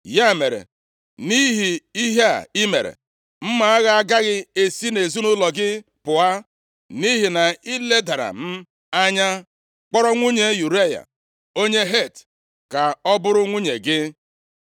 Ya mere, nʼihi ihe a i mere, mma agha agaghị esi nʼezinaụlọ gị pụọ, nʼihi na i ledara m anya kpọrọ nwunye Ụraya onye Het ka ọ bụrụ nwunye gị.’